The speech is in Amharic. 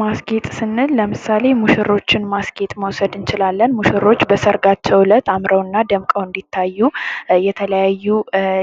ማስጌጥ ስንል ለምሳሌ ሙሽሮችን ማስጌጥ መውሰድ እንችላለን ሙሽሮች በሰርጋቸው አምረውና ደምቀው እንዲታዩ የተለያዩ